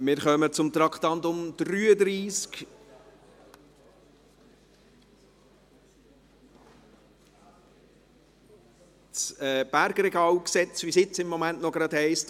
Wir kommen zum Traktandum 33, zum Bergregalgesetz (BRG), wie es im Moment noch heisst.